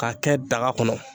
K'a kɛ daga kɔnɔ.